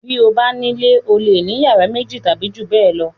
Bí o bá nílé o le ní ìyàrá méjì tàbí ju bẹ́ẹ̀ lọ.